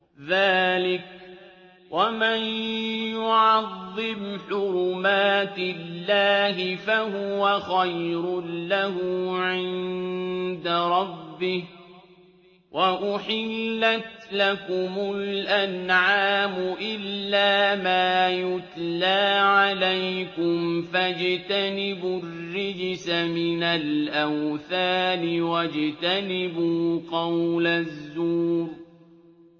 ذَٰلِكَ وَمَن يُعَظِّمْ حُرُمَاتِ اللَّهِ فَهُوَ خَيْرٌ لَّهُ عِندَ رَبِّهِ ۗ وَأُحِلَّتْ لَكُمُ الْأَنْعَامُ إِلَّا مَا يُتْلَىٰ عَلَيْكُمْ ۖ فَاجْتَنِبُوا الرِّجْسَ مِنَ الْأَوْثَانِ وَاجْتَنِبُوا قَوْلَ الزُّورِ